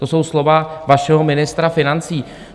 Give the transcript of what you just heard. To jsou slova vašeho ministra financí.